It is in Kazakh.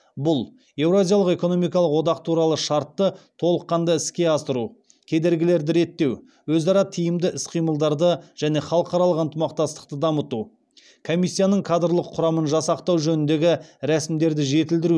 бұл еуразиялық экономикалық одақ туралы шартты толыққанды іске асыру кедергілерді реттеу өзара тиімді іс қимылдарды және халықаралық ынтымақтастықты дамыту комиссияның кадрлық құрамын жасақтау жөніндегі рәсімдерді жетілдіру